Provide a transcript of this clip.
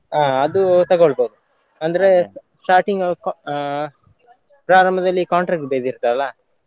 ಆ ಅದು ತಕೊಳ್ಬೋದು ಅಂದ್ರೆ starting ಆ ಪ್ರಾರಂಭದಲ್ಲಿ contract base ಇರ್ತದಲ್ಲ.